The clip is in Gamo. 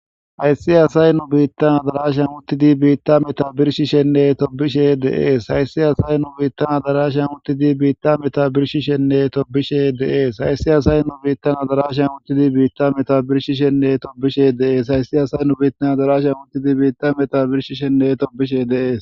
Hayssi asay nu biittan adarasha uttidi biitta meta birshishenne tobishe deees hayssi asay nu biittan adarasha uttidi biitta meta birshi shenne tobishe deees hayssi asay nu biittan adarasha uttidi biitta meta birshishenne tobishe deees hayssi asay nu biittan adarasha uttidi biitta meta birshi shenne tobishe deees.